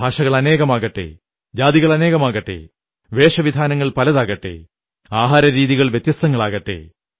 ഭാഷകൾ അനേകമാകട്ടെ ജാതികളനേകമാകട്ടെ വേഷവിധാനങ്ങൾ പലതാകട്ടെ ആഹാരരീതികൾ വ്യത്യസ്തങ്ങളാകട്ടെ